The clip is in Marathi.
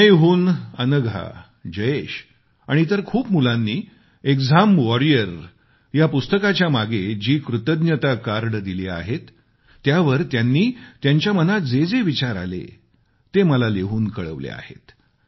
चेन्नईहून अनघा जयेश आणि इतर खूप मुलांनी एक्झाम वॉरियर पुस्तकाच्या मागे जी कृतज्ञता कार्डे दिली आहेत त्यावर त्यांनी त्यांच्या मनात जे जे विचार आले ते मला लिहून कळवले आहे